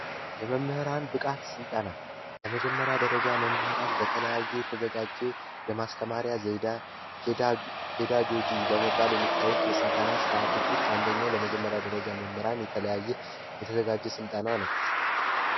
የመምህራን ብቃት ስልጠና ለመጀመሪያ ደረጃ መምህራን በተለያየ የተዘጋጀ የማስተማሪያ ዜና ጂጂ በመባል የሚታወቅ የስልጠና ርዓቶች ውስጥ አንደኛው ለመጀመሪያ ደረጃ መምህራን የተለያየ የተዘጋጀ ስልጠና ነው